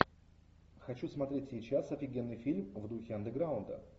хочу смотреть сейчас офигенный фильм в духе андеграунда